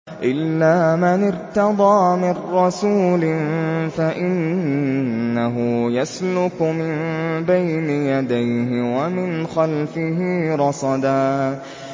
إِلَّا مَنِ ارْتَضَىٰ مِن رَّسُولٍ فَإِنَّهُ يَسْلُكُ مِن بَيْنِ يَدَيْهِ وَمِنْ خَلْفِهِ رَصَدًا